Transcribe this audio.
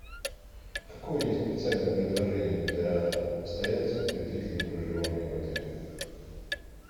какое есть специальное предложение для постояльцев при длительном проживании в отеле